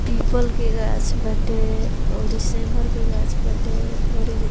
पीपल के गाछ बाटे और इ सेमर के गाछ बाटे और इ --